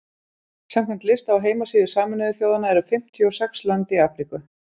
samkvæmt lista á heimasíðu sameinuðu þjóðanna eru fimmtíu og sex lönd í afríku